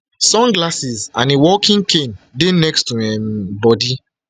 sunglasses and a walking cane dey next to im um body